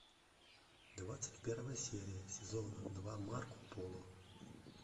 двадцать первая серия сезона два марко поло